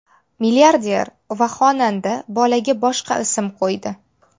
Milliarder va xonanda bolaga boshqa ism qo‘ydi.